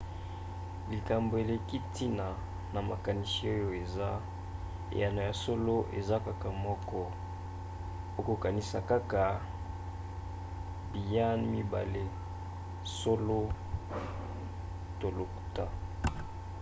likambo eleki ntina na makanisi oyo eza: eyano ya solo eza kaka moko. okokanisa kaka biyan mibale solo to lokuta